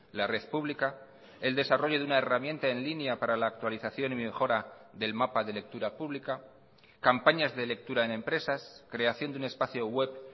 la red pública el desarrollo de una herramienta en línea para la actualización y mejora del mapa de lectura pública campañas de lectura en empresas creación de un espacio web